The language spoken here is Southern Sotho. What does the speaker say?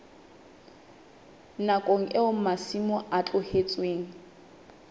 nakong eo masimo a tlohetsweng